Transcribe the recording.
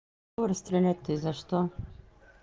кого расстрелять то и за что